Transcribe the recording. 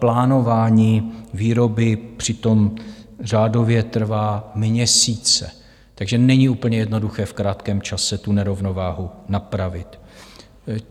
Plánování výroby přitom řádově trvá měsíce, takže není úplně jednoduché v krátkém čase tu nerovnováhu napravit.